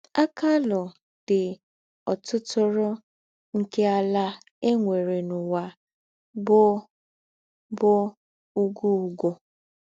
Àkàlù dị ǒtùtúrụ̀ nke àlà è nwèrè n’Ǔwà bụ̀ bụ̀ ùgwù̄ ùgwù̄.